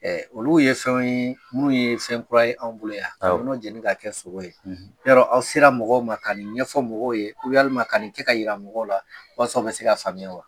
Ɔ olu ye fɛn ye minnu ye fɛn kura ye anw bolo yan , ka jeli k'a kɛ sogo ye. yɔrɔ, aw sera mɔgɔw ma k'a nin ɲɛfɔ mɔgɔw ye, walima ka nin kɛ k'a jira mɔgɔw la walasa u bɛ se k'a faamuya wa